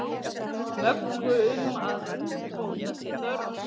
Möggu um að úrbóta sé þörf.